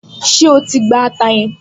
Ṣé o ti gba ata yẹn?